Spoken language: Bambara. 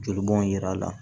Joli bɔn yira la